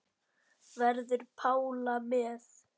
Verður Pála með?